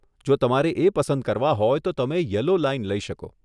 જો તમારે એ પસંદ કરવા હોય તો તમે યલો લાઈન લઈ શકો.